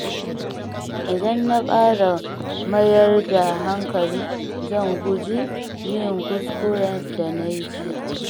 Idan na ƙara mayar da hankali, zan guji yin kuskuren da na yi jiya.